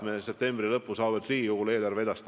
Me esitame eelarve auväärt Riigikogule septembri lõpus.